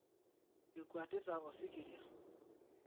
Ekwatita Osikiria